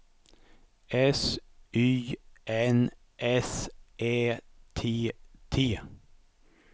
S Y N S Ä T T